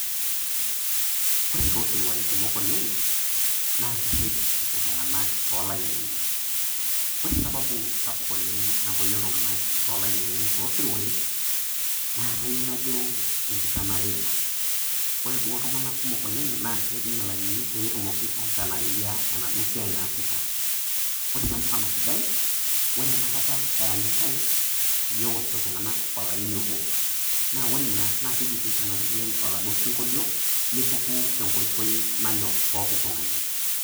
Ore too siruai kumok oleng naa kesej epuo iltunganak tolainini . Ore sababu sapuk napoyie iltunganak tolainini toosiruai naa kayieu najo enkitanareyia . Ore duo iltunganak kumok oleng naa kejing ilainini peetumoki aitanareyie enaduo siai naasita. Ore mfano sidai , ore enakata eranyitae ,neosh iltunganak olaini obo ,naa ore ina naa keji peitanareyiay oladuo sinkolio ,nepuku tenkoitoi nanyor pooki tungani.